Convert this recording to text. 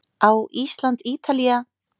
Á Ísland- Ítalía